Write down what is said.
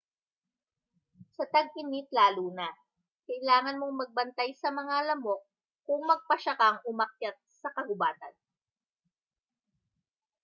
sa tag-init laluna kailangan mong magbantay sa mga lamok kung magpasya kang umakyat sa kagubatan